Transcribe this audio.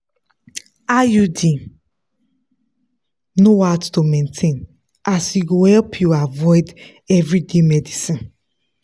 iud no hard to maintain as e go help you avoid everyday medicines.